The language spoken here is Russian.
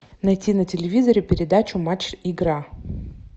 найти на телевизоре передачу матч игра